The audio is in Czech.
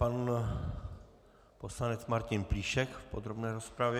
Pan poslanec Martin Plíšek v podrobné rozpravě.